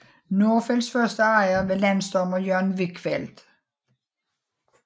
Nordfelts første ejer var landsdommer Jørgen Wichfeld